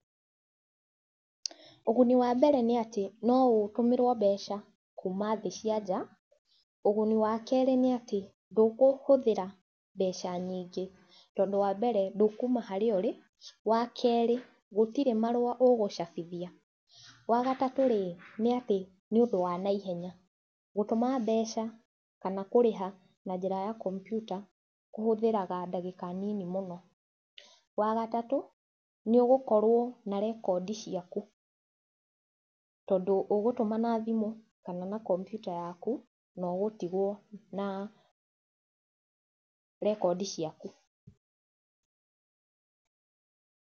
Ũguni wa mbere nĩ atĩ, no ũtũmĩrwo mbeca kuma thĩ cianja, ũguni wa kerĩ nĩ atĩ ndũkũhũthĩra mbeca nyingĩ tondũ wa mbere ndũkuma harĩa ũrĩ, wa kerĩ gũtirĩ marũa ugũcabithia, wa gatatũ rĩ, ni atĩ ni ũndũ wa naihenya. Gũtũma mbeca kana kũrĩha na njĩra ya kombiuta kũhũthagĩra ndagĩka nini mũno, wa gatatũ, nĩ ugũkorwo na rekondi ciaku tondũ ugũtuma na thimũ kana kombiuta yaku na ũgũtigwo na rekondi ciaku.